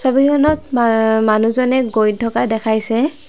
ছবিখনত মা মানুহজনে গৈ থকা দেখাইছে।